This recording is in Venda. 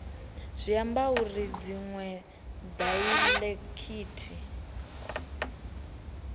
zwi ambi uri dziṅwe daiḽekithi